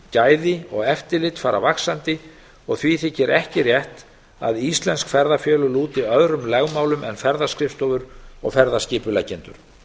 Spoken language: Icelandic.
gæði og eftirlit fara vaxandi og því þykir ekki rétt að íslensk ferðafélög lúti öðrum lögmálum en ferðaskrifstofur og ferðaskipuleggjendur